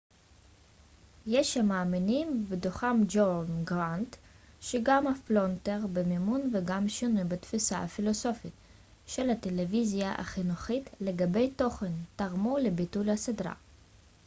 יש המאמינים ובתוכם ג'ון גראנט שגם הפלונטר במימון וגם שינוי בתפיסה הפילוסופית של הטלוויזיה החינוכית לגבי תוכן תרמו לביטול הסדרה